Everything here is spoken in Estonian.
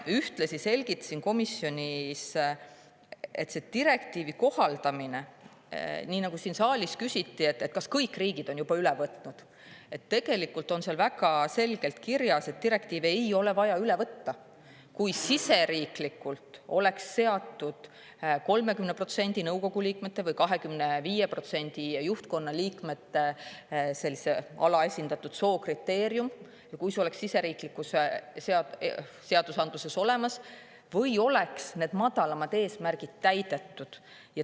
Ühtlasi selgitasin komisjonis, et tegelikult on seal väga selgelt kirjas, et direktiivi ei ole vaja üle võtta – siin saalis küsiti, kas kõik riigid on selle juba üle võtnud –, kui riigisiseses seadusandluses on seatud kriteerium, et alaesindatud soost liikmete nõukogus on 30% või juhtkonnas 25%, või kui need madalamad eesmärgid on täidetud.